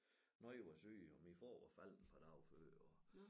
Nogle var syge og min far var faldet et par dage før og